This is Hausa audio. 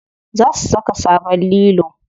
Za su saka sabon lilo.